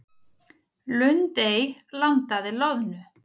Lundey landaði loðnu